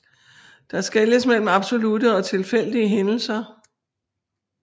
Der skelnes mellem absolutte og tilfældige hændelser